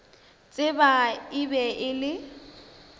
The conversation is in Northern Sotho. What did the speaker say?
tseba e be e le